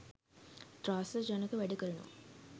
ත්‍රාසජනක වැඩ කරනවා.